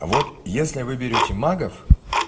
вот если вы берёте магов